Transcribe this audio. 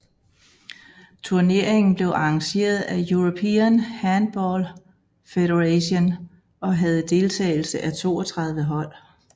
Turneringen blev arrangeret af European Handball Federation og havde deltagelse af 32 hold